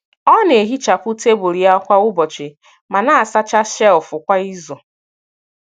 Ọ na-ehichapụ tebụl ya kwa ụbọchị, ma na-asacha shelf kwa izu.